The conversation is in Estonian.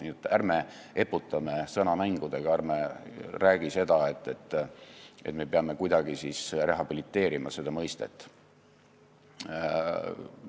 Nii et ärme eputame sõnamängudega, ärme räägime seda, et me peame kuidagi rehabiliteerima seda mõistet.